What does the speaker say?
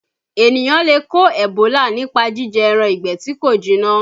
Ènìyàn lè kó Ebola nípa jíjẹ ẹran ìgbẹ́ tí kò jiná